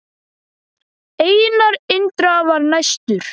Einar Indra var næstur.